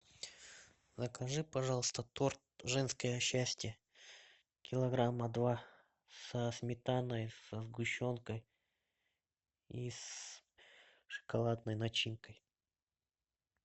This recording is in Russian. закажи пожалуйста торт женское счастье килограмма два со сметаной со сгущенкой и с шоколадной начинкой